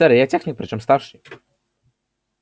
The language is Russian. сэр я техник причём старший